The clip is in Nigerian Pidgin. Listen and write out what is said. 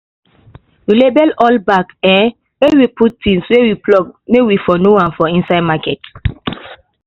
we label all bag um wey we put things wey we pluck may we for know am for inside market